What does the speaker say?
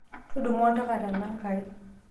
tudumu oltaka tanangai